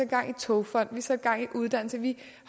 gang i togfonden satte gang i uddannelse vi